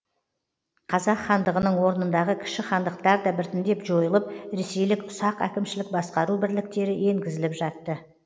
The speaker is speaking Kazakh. қазақ хандығының орнындағы кіші хандықтар да біртіндеп жойылып ресейлік ұсақ әкімшілік басқару бірліктері енгізіліп жатты